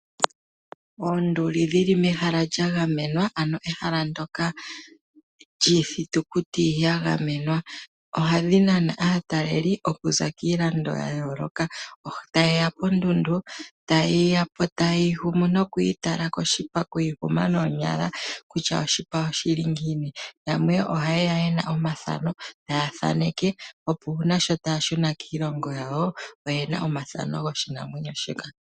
Oonduli dhi li mehala lya gamenwa, ano ehala ndyoka lyiithitukuti ya gamenwa. Ohadhi nana aatalelipo okuza kiilando ya yooloka. Taye ya ponduli taye ya po taye yi gumu nokuyi tala koshipa, okuyi guma noonyala kutya oshipa oshi li ngiini. Yamwe ohaye ya ye na omathano taya thaneka, opo sho taya shuna kiilongo yawo oye na omathano goshinamwenyo shika.